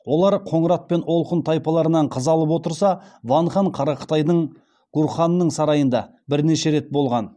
олар қоңырат пен олқұн тайпаларынан қыз алып отырса ван хан қара қытайдың гурханының сарайында бірнеше рет болған